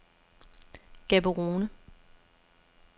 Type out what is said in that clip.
Gaborone